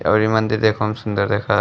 और ई मंदिर देखहुँ में सुंदर देखा --